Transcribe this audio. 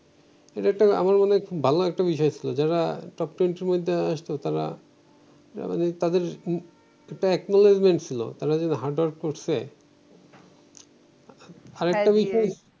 এইটা একটা আমার মনে হয় খুব ভালো একটা বিষয় ছিল যারা টপ টোয়েন্টি এর মধ্যে আসতো তারা না মানে তাদের উহ একটা একনোলিজমেন্ট ছিল তারা যে হার্ডওয়ার্ক করছে আরেকটা বিষয়